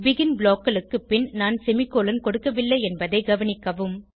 begin blockகளுக்கு பின் நான் செமிகோலன் கொடுக்கவில்லை என்பதை கவனிக்கவும்